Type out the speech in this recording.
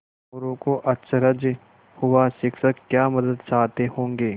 मोरू को अचरज हुआ शिक्षक क्या मदद चाहते होंगे